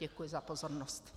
Děkuji za pozornost.